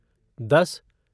दस